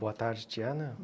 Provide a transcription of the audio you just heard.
Boa tarde, Diana.